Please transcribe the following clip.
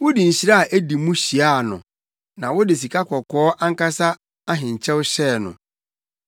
Wode nhyira a edi mu hyiaa no na wode sikakɔkɔɔ ankasa ahenkyɛw hyɛɛ no.